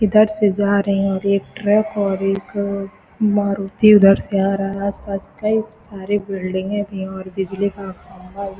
इधर से जा रहे है और एक ट्रक और एक मारुती उधर से आ रहा है आस-पास कई सारे बिल्डिंगे भी है और बिजली का खम्भा भी --